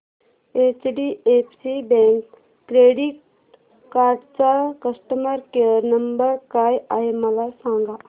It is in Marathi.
एचडीएफसी बँक क्रेडीट कार्ड चा कस्टमर केयर नंबर काय आहे मला सांगा